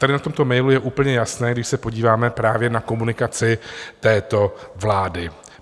Tady na tomto mailu je úplně jasné, když se podíváme právě na komunikaci této vlády.